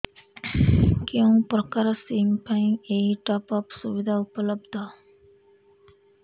କେଉଁ ପ୍ରକାର ସିମ୍ ପାଇଁ ଏଇ ଟପ୍ଅପ୍ ସୁବିଧା ଉପଲବ୍ଧ